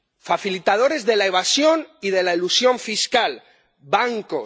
Facilitadores de la evasión y de la elusión fiscal bancos.